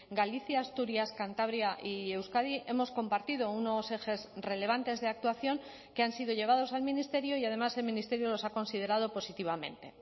galicia asturias cantabria y euskadi hemos compartido unos ejes relevantes de actuación que han sido llevados al ministerio y además el ministerio los ha considerado positivamente